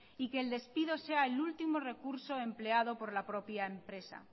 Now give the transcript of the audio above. y que el despido sea el último recurso empleado por la propia empresa